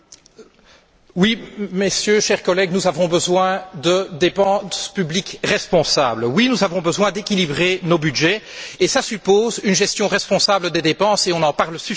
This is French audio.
Monsieur le Président, chers collègues, oui, nous avons besoin de dépenses publiques responsables. Oui, nous avons besoin d'équilibrer nos budgets. Cela suppose une gestion responsable des dépenses et on en parle suffisamment pour le moment.